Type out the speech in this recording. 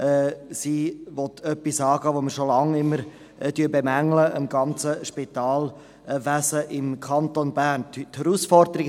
Sie will etwas angehen, das wir am ganzen Spitalwesen im Kanton Bern schon lange immer bemängeln.